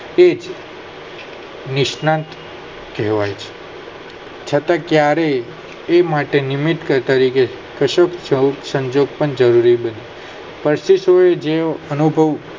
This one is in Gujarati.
તેજ નિસનાક કહેવાય છે છતાં ક્યારેય એ માટે નિમિત્ત ગત તરીકે જરૂરી બને કશુંશો એ જે અનુભવ